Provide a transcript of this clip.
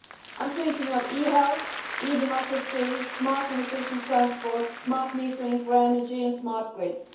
I am thinking of e health, e democracy, smart and efficient transport, smart metering for energy and smart grids.